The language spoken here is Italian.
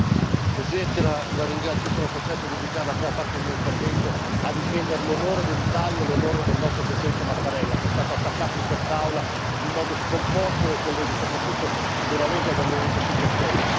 Signor Presidente, onorevoli colleghi, sono costretto a dedicare la prima parte del mio intervento a difendere l'onore dell'Italia e l'onore del nostro Presidente Mattarella, che è stato attaccato in quest'Aula in modo scomposto dai colleghi, soprattutto, della Lega e del Movimento 5 Stelle.